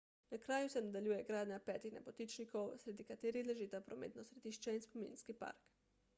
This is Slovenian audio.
na kraju se nadaljuje gradnja petih nebotičnikov sredi katerih ležita prometno središče in spominski park